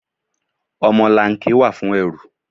Ọmọlanke wà fún ẹrù.